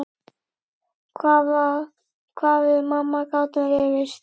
Hvað við mamma gátum rifist.